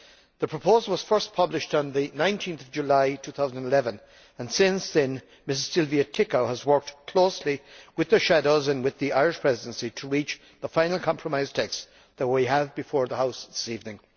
The proposal was first published on 19 July 2011, and since then Ms Silvia Adriana Ţicău has worked closely with the shadows and with the Irish Presidency to reach the final compromise text that we have before the House this evening.